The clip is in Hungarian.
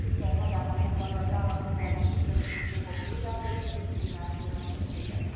4. cikkelye magában foglalja az állampolgári és kisebbségi jogok védelmét, a diszkriminációmentességet.